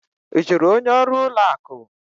Ị jụrụ onye ọrụ ụlọ akụ?